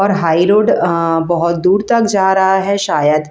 high road बहुत दूर तक जा रहा है शायद--